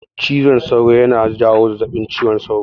Cizon sauro yana jawo zazzabin cizon sauro.